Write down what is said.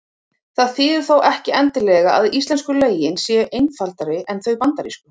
Það þýðir þó ekki endilega að íslensku lögin séu einfaldari en þau bandarísku.